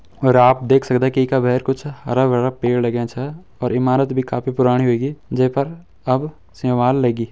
और आप देख सकदा की इका बहर कुछ हरा-भरा पेड़ लाग्यां छा और ईमारत भी काफी पुराणी हुयेगी जेपर अब सेंवाल लगी।